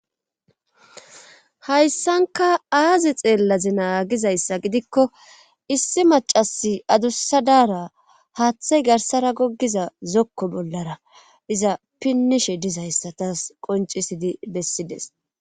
hayssanka aaze xeellazi na gizayssa gidikko issi macasi adussadaara haaththay garsara goggiza zokko bollara iza pinnishe dizayssa tas qoncisidi bessides